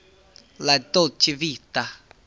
la dolce vita